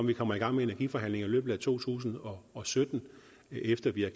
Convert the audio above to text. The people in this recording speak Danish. vi kommer i gang med energiforhandlinger i løbet af to tusind og og sytten efter vi har